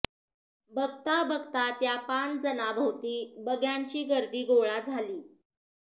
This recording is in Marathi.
बघता बघता त्या पाच जणांभोवती बघ्यांची गर्दी गोळा झाली